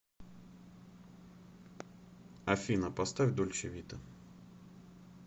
афина поставь дольче вита